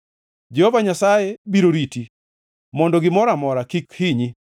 Jehova Nyasaye biro riti mondo gimoro amora kik ohinyi.